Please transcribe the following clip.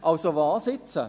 Also, was jetzt?